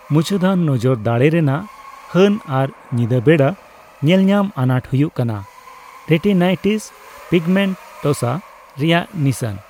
ᱢᱩᱪᱟᱹᱫᱟᱱ ᱱᱚᱡᱚᱨ ᱫᱟᱲᱮ ᱨᱮᱱᱟᱜ ᱦᱟᱹᱱ ᱟᱨ ᱧᱤᱫᱟᱹ ᱵᱮᱲᱟ ᱧᱮᱞᱧᱟᱢ ᱟᱱᱟᱴ ᱦᱩᱭᱩᱜ ᱠᱟᱱᱟ ᱨᱮᱴᱤᱱᱟᱭᱴᱤᱥ ᱯᱤᱜᱢᱮᱱᱴᱳᱥᱟ ᱨᱮᱭᱟᱜ ᱱᱤᱥᱟᱹᱱ ᱾